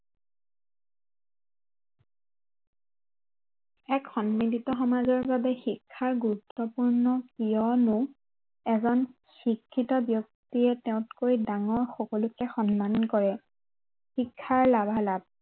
এক সন্মিলিত সমাজৰ বাবে শিক্ষা গুৰুত্ৱপূৰ্ণ কিয়নো এজন শিক্ষিত ব্য়ক্তিয়ে তেওঁতকৈ ডাঙৰ সকলোকে সন্মান কৰে, শিক্ষাৰ লাভালাভ